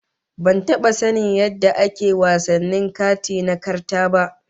Ban taba sanin yadda ake wasannin kati na karta ba